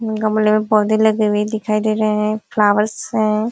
गमले में पौधे लगे हुए दिखयी दे रहे है। फ्लावर्स है।